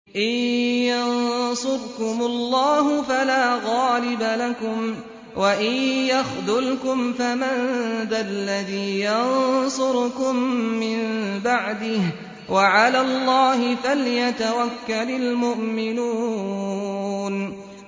إِن يَنصُرْكُمُ اللَّهُ فَلَا غَالِبَ لَكُمْ ۖ وَإِن يَخْذُلْكُمْ فَمَن ذَا الَّذِي يَنصُرُكُم مِّن بَعْدِهِ ۗ وَعَلَى اللَّهِ فَلْيَتَوَكَّلِ الْمُؤْمِنُونَ